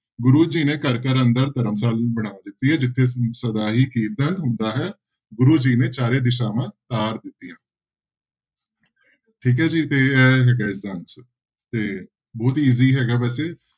ਗੁਰੂ ਜੀ ਨੇ ਘਰ ਘਰ ਅੰਦਰ ਧਰਮਸ਼ਾਲ ਬਣਾ ਦਿੱਤੀ ਹੈ ਜਿੱਥੇ ਸਦਾ ਹੀ ਕੀਰਤਨ ਹੁੰਦਾ ਹੈ ਗੁਰੂ ਜੀ ਨੇ ਚਾਰੇ ਦਿਸ਼ਾਵਾਂ ਤਾਰ ਦਿੱਤੀਆਂ ਠੀਕ ਹੈ ਜੀ ਤੇ ਇਹ ਹੈਗਾ ਹੈ ਇਸਦਾ answer ਤੇ ਬਹੁਤ easy ਹੈਗਾ ਵੈਸੇ।